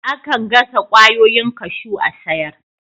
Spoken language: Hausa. Akan gasa kwayoyin kashew a'sayar.